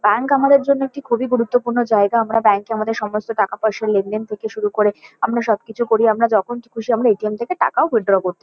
Bank আমাদের জন্য একটি খুবই গুরুত্বপূর্ণ জায়গা। আমরা ব্যাঙ্ক -এ আমাদের সমস্ত টাকা-পয়সার লেনদেন থেকে শুরু করে আমরা সবকিছু করি। আমরা যখন খুশি আমরা এ .টি .এম. থেকে টাকাও উইথড্র করতে --